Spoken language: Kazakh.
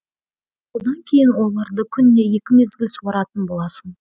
содан кейін оларды күніне екі мезгіл суаратын боласың